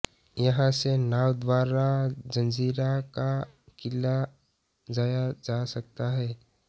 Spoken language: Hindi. यहां से नाव द्वारा जंजीरा का किला जाया जा सकता है